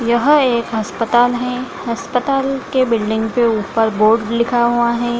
यह एक अस्पताल है अस्पताल के बिल्डिंग के ऊपर बोर्ड लिखा हुआ है।